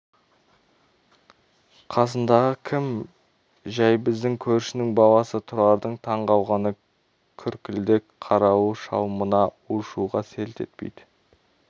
қасыңдағы кім жәй біздің көршінің баласы тұрардың таң қалғаны күркілдек қарауыл шал мына у-шуға селт етпейді